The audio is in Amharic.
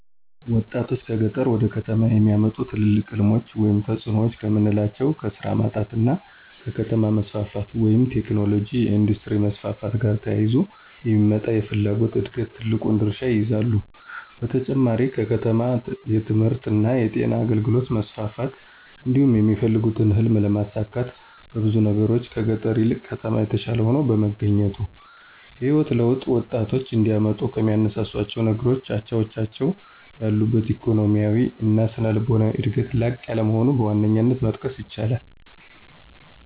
ወጣቶችን ከገጠር ወደ ከተሞች የሚያመጡ ትልቅ ሕልሞች ወይም ተጽዕኖዎች ከምናላቸው ከስራ ማጣት እና ከከተማ መስፋፋት (ቴክኖሎጅ፣ የኢንዱስትሪ መስፋፋት )ጋር ተያይዞ የሚመጣ የፍላጎት ዕድገት ትልቁን ድርሻ ይይዛሉ። በተጨማሪም በከተማ የትምህርትእና የጤና አገልግሎት መስፋፋት እንዲሁም የሚፈልጉትን ህልም ለማሳካት በብዙ ነገሮች ከገጠር ይልቅ ከተማ የተሻለ ሆኖ በመገኘቱ። የህይወት ለውጥ ወጣቶች እንዲያመጡ ከሚያነሳሷቸው ነገሮች አቻዎቻቸው ያሉበት ኢኮኖሚያዊ እና ስነልቦናዊ ዕድገት ላቅ ያለ መሆኑን በዋነኛነት መጥቀስ ይቻላል።